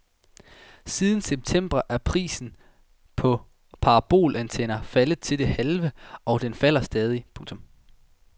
Siden september er prisen på parabolantenner faldet til det halve og den falder stadig. punktum